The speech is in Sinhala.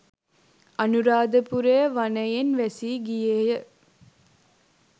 අනුරාධපුරය වනයෙන් වැසී ගියේය.